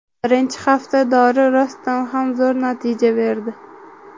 Birinchi hafta dori rostdan ham zo‘r natija berdi.